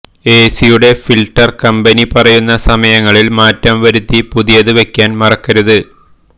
എസിയുടെ filter company പറയുന്ന സമയങ്ങളിൽ മാറ്റം വരുത്തി പുതിയത് വെക്കാൻ മറക്കരുത്